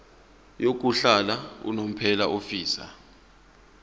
yokuhlala unomphela ofisa